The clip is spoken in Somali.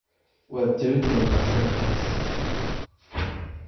Waad jabin doontaa sawirkaas.